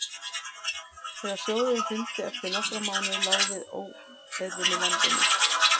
þegar sjóðurinn hrundi eftir nokkra mánuði lá við óeirðum í landinu